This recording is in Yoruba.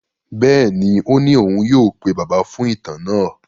Bẹ́ẹ̀ni, ó ní òun yóò pe Bàbá fún ìtàn náà.